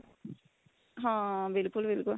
ਹਾਂ ਬਿਲਕੁਲ ਬਿਲਕੁਲ